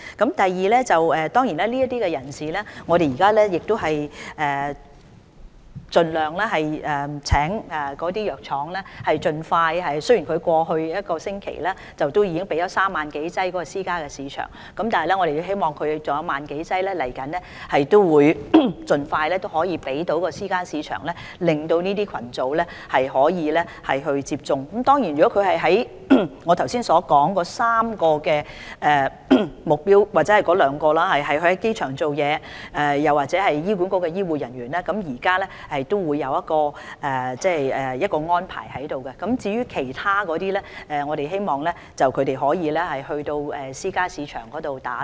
對於屬於我剛才所說的3個目標群組的人士，包括在機場工作的員工或醫管局的醫護人員，政府已作了安排。至於其他人士，我們希望他們可以到私營市場接種疫苗。